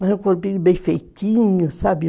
Mas um corpinho bem feitinho, sabe?